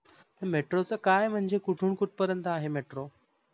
metro च काय आहे म्हणजे कुटून कुठ पर्यंत आहे metro?